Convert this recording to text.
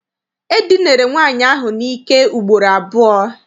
E dinere nwaanyị ahụ n'ike ugboro abụọ.